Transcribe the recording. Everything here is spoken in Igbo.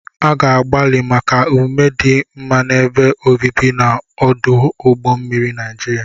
A ga-agbalị maka omume dị mma n'ebe obibi na ọdụ ụgbọ mmiri Niajiria.